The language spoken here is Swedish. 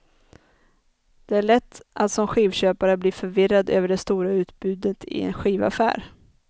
Det är lätt att som skivköpare bli förvirrad över det stora utbudet i en skivaffär.